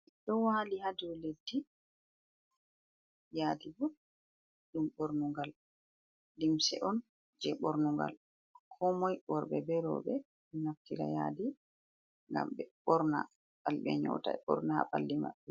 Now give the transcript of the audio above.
Ɗo waali haa dow leddi, yaadi bo ɗum ɓornungal, limse on jey bornungal koomoy, worɓe be rowɓe ɗo naftira yaadi ngam ɓe ɓorna, ngam ɓe nyoota, ɓe ɓorna haa ɓalli maɓɓe.